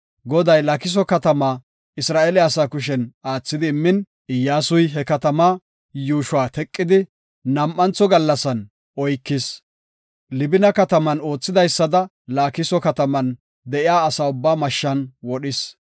Goday Laakiso katama Isra7eele asa kushen aathidi immin, Iyyasuy he katamaa yuushuwa teqidi nam7antho gallasan oykis. Libina kataman oothidaysada Laakiso kataman de7iya asa ubbaa mashshan wodhis.